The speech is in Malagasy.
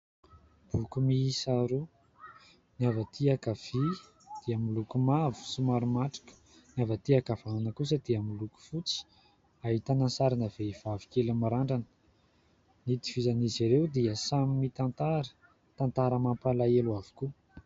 Boky miisa roa, ny avy aty ankavia dia miloko mavo somary matroka, ny avy aty ankavanana kosa dia miloko fotsy, ahitana ny sarina vehivavy kely mirandrana. Ny itovizan'izy ireo dia samy mitantara tantara mampalahelo avokoa.